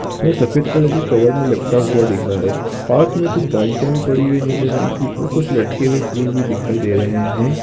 यह सफ़ेद कलर के कवर मे लपटा हुआ दिख रहा है पास मे कुछ बाल्टिया भी पड़ी हुई है नीले रंग की और कुछ लटके हुए फुल भी दिखाई दे रहे है।